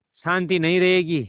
शान्ति नहीं रहेगी